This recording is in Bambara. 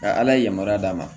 Ka ala yamaruya d'a ma